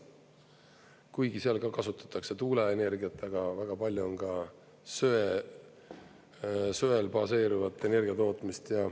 Kuigi seal ka kasutatakse tuuleenergiat, aga väga palju on ka söel baseeruvat energiatootmist.